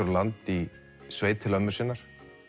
á land í sveit til ömmu sinnar